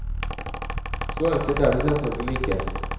Så enkelt er det selvfølgelig ikke.